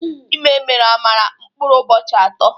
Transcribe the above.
Ịme meere Amara mkpụrụ ụbọchị ato